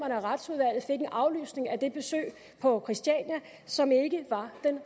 af retsudvalget fik en aflysning af det besøg på christiania som ikke var den